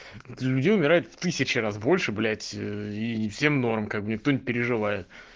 люди умирают в тысячу раз больше блять и всем норм как бы никто не переживает